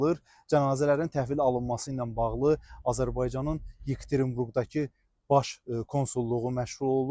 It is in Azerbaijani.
Cənazələrin təhvil alınması ilə bağlı Azərbaycanın Yekaterinburqdakı Baş Konsulluğu məşğul olur.